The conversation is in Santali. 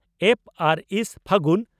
ᱯᱹ ᱟᱨ ᱥᱹ, ᱯᱷᱟᱹᱜᱩᱱ ᱾